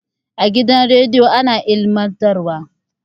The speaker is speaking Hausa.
A gidan radiyo ana ilmantar wa